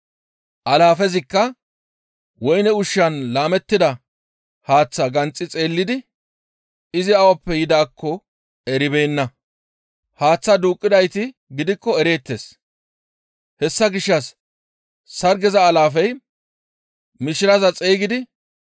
Alaafezikka woyne ushshan laamettida haaththaa ganxi xeellidi izi awappe yidaakko eribeenna. Haaththaa duuqqidayti gidikko ereettes; hessa gishshas sargeza alaafey mishiraza xeygidi,